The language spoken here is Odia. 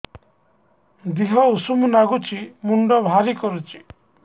ଦିହ ଉଷୁମ ନାଗୁଚି ମୁଣ୍ଡ ଭାରି କରୁଚି